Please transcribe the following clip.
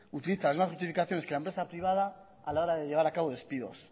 utiliza las mismas justificaciones que la empresa privada a la hora de llevar a cabo despidos